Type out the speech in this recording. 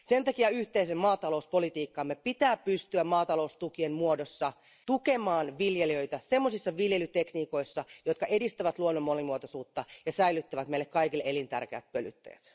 Sen takia yhteisen maatalouspolitiikkamme pitää pystyä maataloustukien muodossa tukemaan viljelijöitä semmoisissa viljelytekniikoissa, jotka edistävät luonnon monimuotoisuutta ja säilyttävät meille kaikille elintärkeät pölyttäjät.